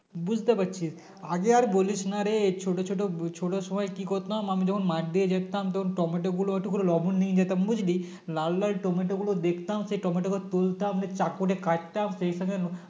বুঝতে পারছি আগে আর বলিস নারে এই ছোট ছোট ছোলোর সময় কি করতাম আমি যখন মাঠ দিয়ে যেতাম তখন টমেটো গুলো একটু করে লবণ নিয়ে যেতাম বুঝলি লাল লাল টমেটো গুলো দেখতাম সেই টমেটো গুলো তুলতাম চাকু দিয়ে কাটতাম সেইখানে